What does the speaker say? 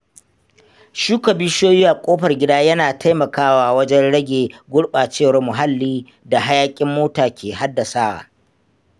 Shuka bishiyoyi a kofar gida yana taimakawa wajen rage gurɓacewar muhalli da hayaƙin mota ke haddasawa.